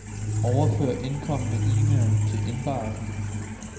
Overfør indkomne e-mail til indbakken.